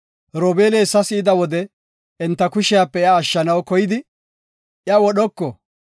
Robeeli hessa si7ida wode, enta kushepe iya ashshanaw koydi, “Iya wodhoko;